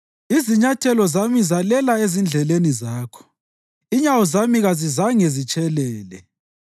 Izinyathelo zami zalela ezindleleni zakho; inyawo zami kazizange zitshelele.